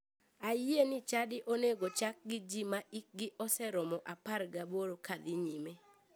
Ayie ni chadi onego chak gi ji ma hikgi oseromo 18 kadhi nyime.